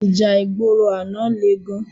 Íjà igbóró àná lé gán